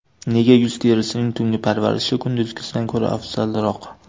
Nega yuz terisining tungi parvarishi kunduzgisidan ko‘ra afzalroq?.